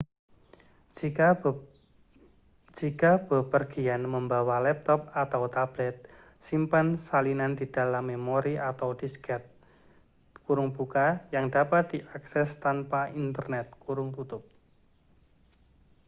jika bepergian membawa laptop atau tablet simpan salinan di dalam memori atau disket yang dapat diakses tanpa internet